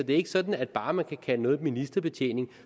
det er ikke sådan at bare man kan kalde noget ministerbetjening